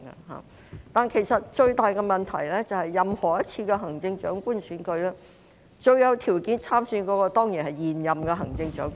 然而，其實最大的問題是，任何一次行政長官選舉，最有條件參選的當然是現任行政長官。